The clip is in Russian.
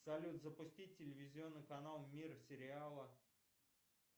салют запустить телевизионный канал мир сериала